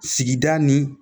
Sigida ni